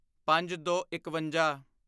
ਪੰਜਦੋਇਕਵੰਜਾ